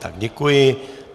Tak, děkuji.